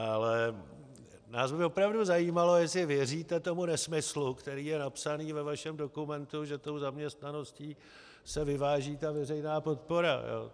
Ale nás by opravdu zajímalo, jestli věříte tomu nesmyslu, který je napsaný ve vašem dokumentu, že tou zaměstnaností se vyváží ta veřejná podpora.